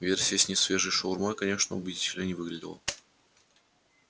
версия с несвежей шаурмой конечно убедительной не выглядела